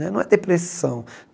Né não é depressão.